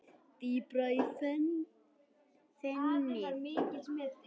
Dýpra í fenið